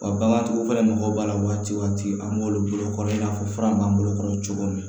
Wa bagantigiw fɛnɛ mago b'a la waati an b'olu bolo kɔrɔ i n'a fɔ fura b'an bolo cogo min